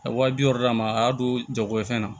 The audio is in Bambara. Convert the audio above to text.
A ye wa bi wɔɔrɔ d'a ma a y'a don jago ye fɛn na